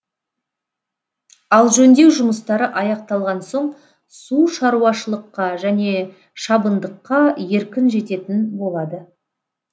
ал жөндеу жұмыстары аяқталған соң су шаруашылыққа және шабындыққа еркін жететін болады